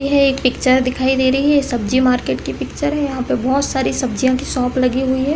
ये एक पिक्चर दिखाई दे रही है सब्जी मार्केट की पिक्चर है यहाँ पे बहुत सारी सब्जियां की शॉप लगी हुई है।